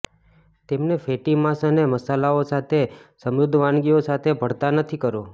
તેમને ફેટી માંસ અને મસાલાઓ સાથે સમૃદ્ધ વાનગીઓ સાથે ભળતા નથી કરો